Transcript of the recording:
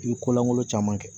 I bi ko lankolon caman kɛ